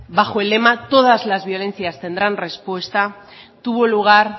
bajo el lema todas las violencias tendrán respuesta tuvo lugar